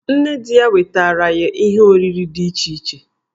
Nne di ya wetaara ye ihe oriri dị iche iche.